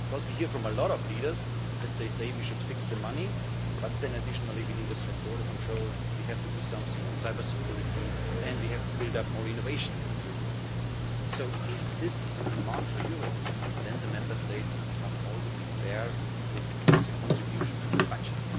Because we hear from a lot of leaders that say we should fix the money but then additionally we need a strong border control, we have to do something on cybersecurity and we have to build up more innovation in the European Union. So if this is a demand for Europe, then the Member States must also be fair with the contribution to the budget.